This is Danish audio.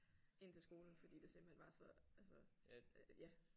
Ind til skolen fordi det simpelthen var så altså ja